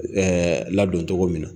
ladon tɔgɔ min na.